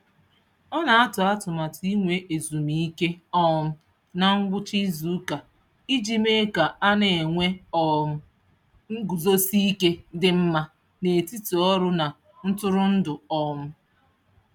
Ọ na-atụ atụmatụ inwe ezumike um na ngwụcha izuụka iji mee ka a na-enwe um nguzosi ike dị mma n'etiti ọrụ na ntụrụndụ. um